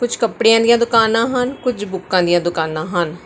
ਕੁਝ ਕੱਪੜੇਆਂ ਦੀਆਂ ਦੁਕਾਨਾਂ ਹਨ ਕੁਝ ਬੁੱਕਾਂ ਦੀਆਂ ਦੁਕਾਨਾਂ ਹਨ।